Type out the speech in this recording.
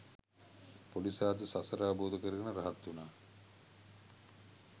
පොඩි සාදු සසර අවබෝධ කරගෙන රහත් උනා